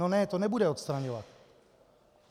No ne, to nebude odstraňovat.